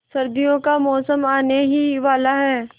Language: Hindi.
सर्दियों का मौसम आने ही वाला है